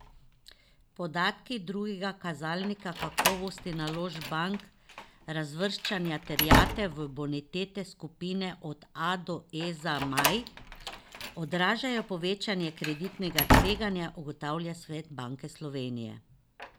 Podatki drugega kazalnika kakovosti naložb bank, razvrščanja terjatev v bonitetne skupine od A do E za maj, odražajo povečanje kreditnega tveganja, ugotavlja svet Banke Slovenije.